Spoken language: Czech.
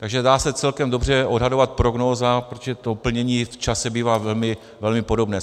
Takže dá se celkem dobře odhadovat prognóza, protože to plnění v čase bývá velmi podobné.